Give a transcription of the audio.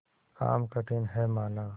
काम कठिन हैमाना